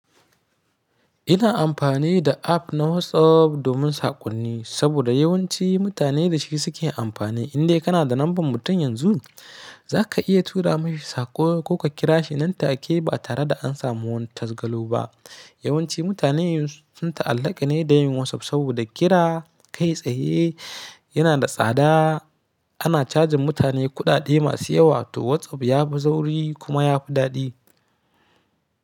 Ina amfani da app na WhatsApp domin saƙonni saboda yawanci mutane da shi suke amfani. Indai kana da lambar mutum yanzu, za ka iya tura mashi saƙo ko ka kira shi nan take ba tare da an samu wani tasgaro ba. Yawanci mutane sun ta'allaka ne da yin WhatsApp saboda kira kai tsaye yana da tsada. Ana cajin mutane kuɗaɗe masu yawa to WhatsApp ya fi sauri kuma ya fi daɗi.